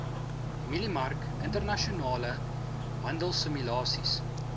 mieliemark internasionale handelsimulasies